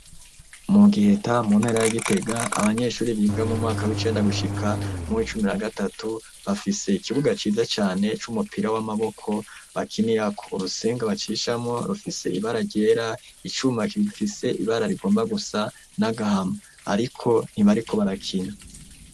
Mu Giheta mu ntara ya Gitega abanyeshuri biga mu mwaka w'icenda gushika m'uwicumi na gatatu bafise ikibuga ciza cane c'umupira w'amaboko bakinirako, urusenga bacishamwo rifise ibara ryera, icuma gifise ibara rigomba gusa n'agahama ariko ntibariko barakina.